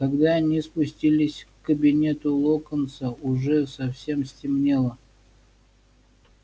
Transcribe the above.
когда они спустились к кабинету локонса уже совсем стемнело